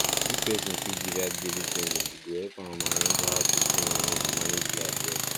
if person fit divide daily spending e go help am arrange how to spend money and manage life well